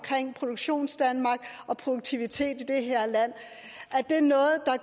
produktionsdanmark og produktivitet i det her land